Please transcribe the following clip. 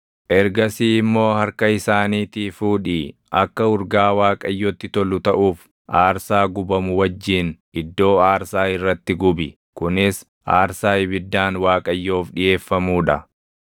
Ergasii immoo harka isaaniitii fuudhii akka urgaa Waaqayyotti tolu taʼuuf aarsaa gubamu wajjin iddoo aarsaa irratti gubi; kunis aarsaa ibiddaan Waaqayyoof dhiʼeeffamuu dha.